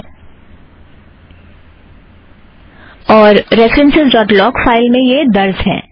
हम references dot log को खोलेंगे - यहाँ